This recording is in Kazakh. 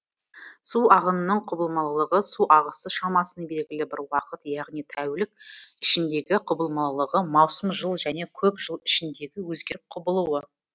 су ағынының құбылмалылығы су ағысы шамасының белгілі бір уақыт яғни тәулік ішіндегі құбылмалылығы маусым жыл және көп жыл ішіндегі өзгеріп құбылуы